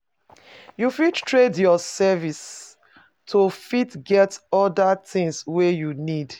You fit trade your services to fit get oda things wey you need